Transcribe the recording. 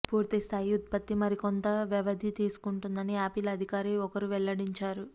పూర్తిస్థాయి ఉత్పత్తి మరికొంత వ్యవధి తీసుకుంటుందని యాపిల్ అధికారి ఒకరు వెల్లడించారు